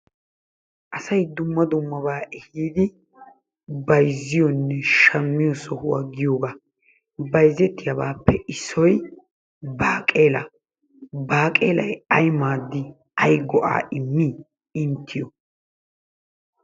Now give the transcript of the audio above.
Asay dumma dummabaa ehiidi bayizziyonne shammiyo sohuwa giyogaa bayizettiyabaappe issoy baaqeelaa. Baaqeelay ay maaddii? Ayiba go' immidi inttiyo?